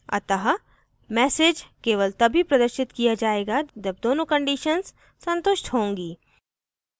अतः message केवल तभी प्रदर्शित किया जायेगा जब दोनों conditions संतुष्ट होंगी